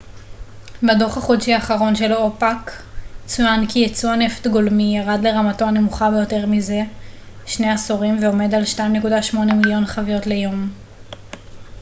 בדו ח החודשי האחרון של אופ ק צוין כי ייצוא הנפט גולמי ירד לרמתו הנמוכה ביותר מזה שני עשורים ועומד על 2.8 מיליון חביות ליום